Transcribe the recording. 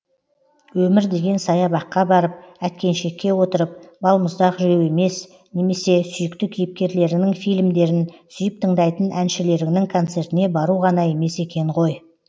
өмір деген саябаққа барып әткеншекке отырып балмұздақ жеу емес немесе сүйікті кейіпкерлеріңнің фильмдерін сүйіп тыңдайтын әншілеріңнің концертіне бару ғана емес екен ғой